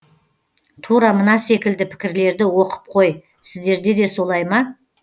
тура мына секілді пікірлерді оқып қой сіздерде де солай ма